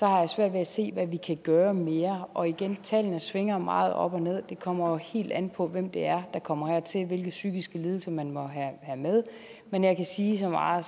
har jeg svært ved at se hvad vi kan gøre mere og igen tallene svinger meget op og ned det kommer helt an på hvem der kommer hertil hvilke psykiske lidelser man må have med men jeg kan sige så meget